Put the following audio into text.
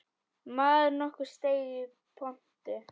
Maður nokkur steig í pontu.